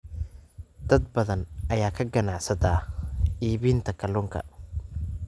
Dad badan ayaa ka ganacsada iibinta kalluunka.